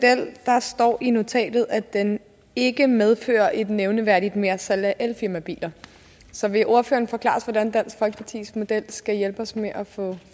står der i notatet at den ikke medfører et nævneværdigt mersalg af elfirmabiler så vil ordføreren forklare os hvordan dansk folkepartis model skal hjælpe os med at få